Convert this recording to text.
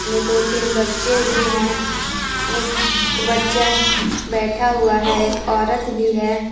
में दो तीन बच्चे भी हैं एक बच्चा बैठा हुआ है एक औरत भी है ।